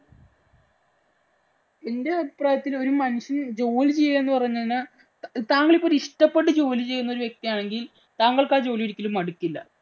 എന്‍റെ അഭിപ്രായത്തില്‍ ഒരു ഒരു മനുഷ്യന്‍ ജോലി ചെയ്യുക എന്ന് പറഞ്ഞാ താങ്കള്‍ ഒരു ഇഷ്ടപ്പെട്ടു ജോലി ചെയ്യുന്ന വ്യക്തിയാണെങ്കില്‍ താങ്കള്‍ക്ക് ആ ജോലി ഒരിക്കലും മടുക്കില്ല.